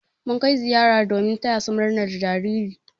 Mun kai ziyara domin taya su murnar jariri.